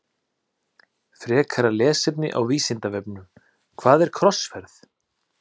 Frekara lesefni á Vísindavefnum Hvað er krossferð?